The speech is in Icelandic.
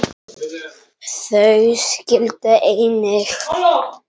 Þau skildu einnig.